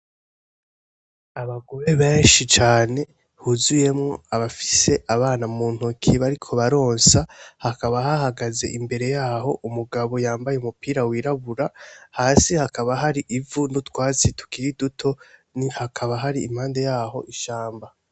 Abagore benshi cane buzuyemwo abafis abana mu ntoki bariko baronsa hakaba hahagaze imbere yaho umugabo yambaye umupira wirabura hasi hakaba hari ivu n’utwatsi tukiri duto hakaba hari impande yaho ishamba.